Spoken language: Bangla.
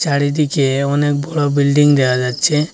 চারিদিকে অনেক বড় বিল্ডিং দেখা যাচ্ছে।